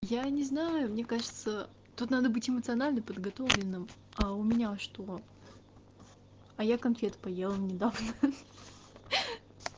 я не знаю мне кажется тут надо быть эмоционально подготовленным а у меня что а я конфет поела недавно